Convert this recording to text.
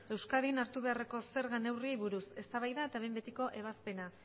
euskadin hartu beharreko zerga neurriei buruz eztabaida eta behin betiko ebazpena